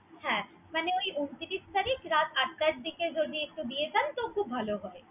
হ্যা মনে উনত্রিশ তারিখ রাত আটাটার দিখে যদি একটু দিয়ে যান তো খুব ভালো হয়।